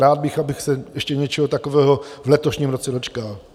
Rád bych, abych se ještě něčeho takového v letošním roce dočkal.